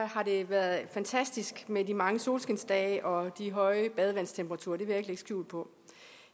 har det været fantastisk med de mange solskinsdage og de høje badevandstemperaturer det vil jeg skjul på